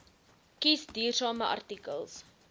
kies duursame artikels